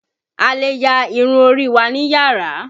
A lè ya irun orí wa níyàrá.